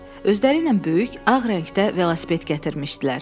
Özlərinlə böyük ağ rəngdə velosiped gətirmişdilər.